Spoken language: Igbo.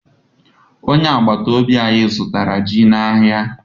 Onye agbata obi anyị zụtara ji n'ahịa.